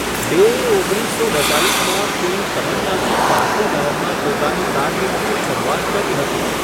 ડેએ ઓગણીસસો બેત્તાલીસમાં ફિલ્મ તમન્નાથી પાર્શ્વગાયનમાં પોતાની કારકિર્દીની શરૂઆત કરી હતી.